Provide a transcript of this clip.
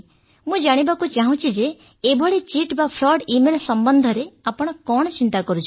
ମୁଁ ଜାଣିବାକୁ ଚାହୁଁଛି ଯେ ଏଭଳି ଚିଟ୍ ବା ଫ୍ରଡ୍ ଇମେଲ ସମ୍ବନ୍ଧରେ ଆପଣ କଣ ଚିନ୍ତା କରୁଛନ୍ତି